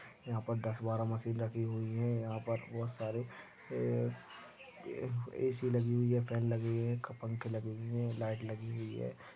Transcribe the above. यहा पर दस बारा मशीन रखी हुई है यहा पर बहुत सारे ये ए ए_सी लगी हुई है फॅन लगे हुए है पंखे लगे हुए है लाइट लगी हुई है।